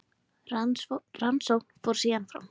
Rannsókn fór síðan fram.